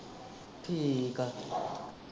ਠੀਕ ਆ।